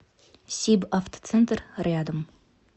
сибавтоцентр рядом